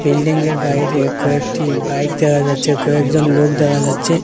বিল্ডিংয়ের বাইরে কয়েকটি বাইক দেখা যাচ্ছে কয়েকজন লোক দেখা যাচ্ছে।